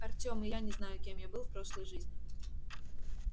артем и я не знаю кем я был в прошлой жизни